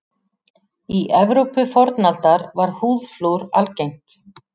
Í Evrópu fornaldar var húðflúr algengt.